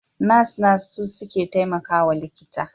Nas-nas su suke taimakawa likita.